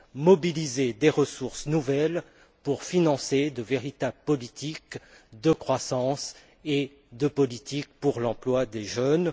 Mobiliser des ressources nouvelles pour financer de véritables politiques de croissance et des politiques pour l'emploi des jeunes.